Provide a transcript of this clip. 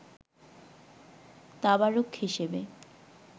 তাবারুক হিসাবে